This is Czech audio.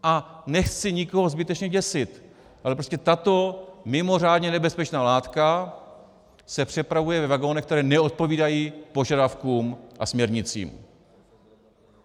A nechci nikoho zbytečně děsit, ale prostě tato mimořádně nebezpečná látka se přepravuje ve vagonech, které neodpovídají požadavkům a směrnicím.